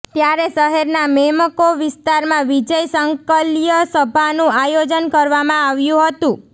ત્યારે શહેરના મેમકો વિસ્તારમાં વિજય સંકલ્યસભાનુ આયોજન કરવામાં આવ્યુ હતુ